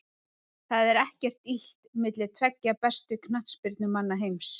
Það er ekkert illt milli tveggja bestu knattspyrnumanna heims.